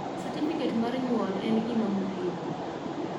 satifiket mar nyuol en gima muhimu